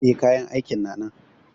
E, kayan aikin na nan.